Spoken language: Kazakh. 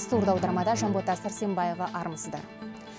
сурдоаудармада жанбота сәрсенбаева армысыздар